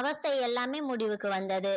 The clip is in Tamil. அவஸ்தை எல்லாமே முடிவுக்கு வந்தது